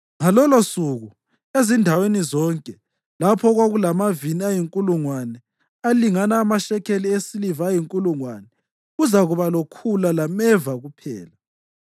Ngalolosuku, ezindaweni zonke lapho okwakulamavini ayinkulungwane alingana amashekeli esiliva ayinkulungwane, kuzakuba lokhula lameva kuphela.